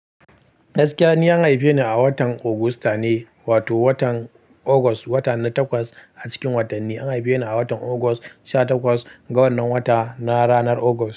Gaskiya ni an haife ni a watan agusta ne, wato watan August, wata na takwas a cikin watanni. An haife ni a watan August sha takwas, ga wannan wata na ranar August.